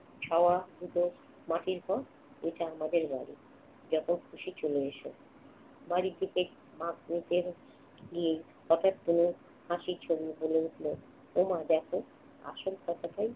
ছাওয়ার উপর মাটির ঘর, এটা আমাদের বাড়ি। যখন খুশি চলে এসো। বাড়ির দিকে হাত উাঠয়ে দিয়ে। হঠাৎ তনু হাসি ছড়িয়ে বলে ওঠল, ওমা দেখো আসল কথাটাই